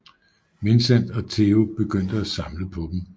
Vincent og Theo begyndte at samle på dem